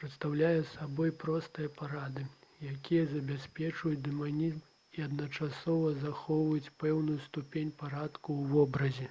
прадстаўляе сабой простыя парады якія забяспечваюць дынамізм і адначасова захоўваюць пэўную ступень парадку ў вобразе